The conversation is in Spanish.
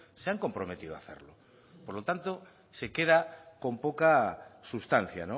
se han comprometido a hacerlo por lo tanto se queda con poca sustancia